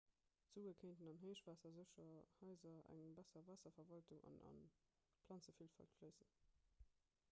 d'sue kéinten an héichwaassersécher haiser eng besser waasserverwaltung an a planzevilfalt fléissen